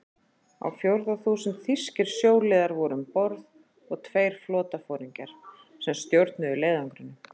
Á fjórða þúsund þýskir sjóliðar voru um borð og tveir flotaforingjar, sem stjórnuðu leiðangrinum.